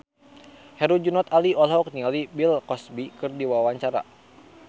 Herjunot Ali olohok ningali Bill Cosby keur diwawancara